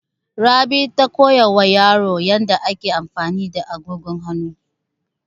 Rabi ta koya wa yaro yadda ake amfani da agogon hanu.